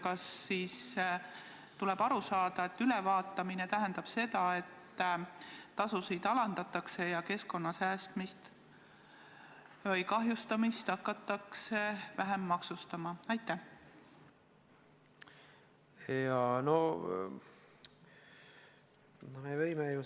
Kas tuleb aru saada nii, et ülevaatamine tähendab seda, et tasusid alandatakse ja keskkonna säästmist või kahjustamist hakatakse vähem maksustama?